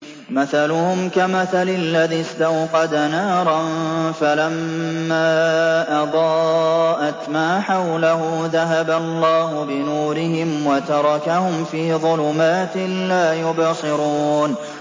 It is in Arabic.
مَثَلُهُمْ كَمَثَلِ الَّذِي اسْتَوْقَدَ نَارًا فَلَمَّا أَضَاءَتْ مَا حَوْلَهُ ذَهَبَ اللَّهُ بِنُورِهِمْ وَتَرَكَهُمْ فِي ظُلُمَاتٍ لَّا يُبْصِرُونَ